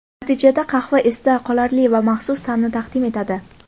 Natijada qahva esda qolarli va maxsus ta’mni taqdim etadi.